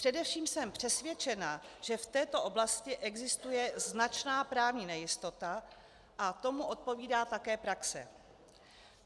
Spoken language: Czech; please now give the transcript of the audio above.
Především jsem přesvědčena, že v této oblasti existuje značná právní nejistota a tomu odpovídá také praxe.